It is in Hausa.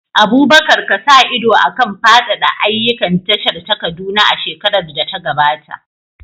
Abubakar ka sa ido a kan faɗaɗa ayyukan tashar ta Kaduna a shekarar da ta gabata.